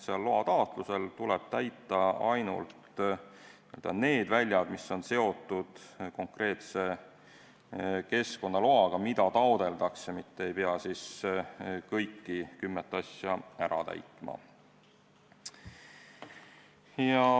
Loataotlusel tuleb täita ainult need väljad, mis on seotud konkreetse keskkonnaloaga, mida taotletakse, ei pea kõiki kümmet asja ära täitma.